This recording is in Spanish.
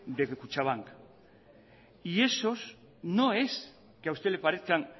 de kutxabank y esos no es que a usted le parezcan